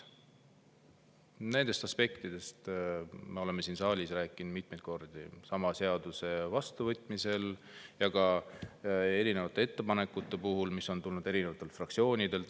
Nendest aspektidest me oleme siin saalis rääkinud mitmeid kordi, sama seaduse vastuvõtmisel ja ka erinevate ettepanekute puhul, mis on tulnud erinevatelt fraktsioonidelt.